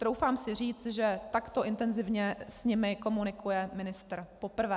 Troufám si říct, že takto intenzivně s nimi komunikuje ministr poprvé.